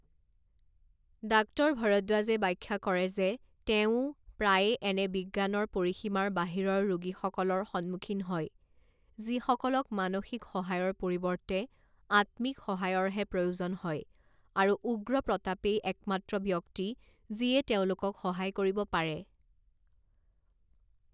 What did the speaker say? Doctor ভৰদ্বাজে ব্যাখ্যা কৰে যে তেওঁও প্ৰায়ে এনে বিজ্ঞানৰ পৰিসীমাৰ বাহিৰৰ ৰোগীসকলৰ সন্মুখীন হয় যিসকলক মানসিক সহায়ৰ পৰিৱৰ্তে আত্মিক সহায়ৰহে প্ৰয়োজন হয় আৰু উগ্ৰ প্ৰতাপেই একমাত্ৰ ব্যক্তি যিয়ে তেওঁলোকক সহায় কৰিব পাৰে।